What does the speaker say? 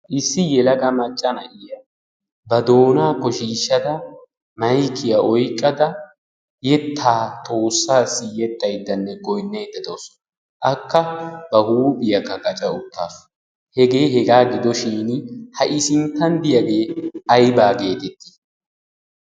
issi yelaga macca na'iya ba doonaa ko shiishshada maikiya oiqqada yettaa toossaassi yettaiddanne goinneedda toosona akka ba huuphiyaakka gaca ukkaa hegee hegaa gidoshin ha'i sinttan diyaagee aybaa geetittii?